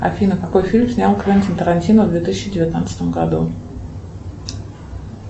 афина какой фильм снял квентин тарантино в две тысячи девятнадцатом году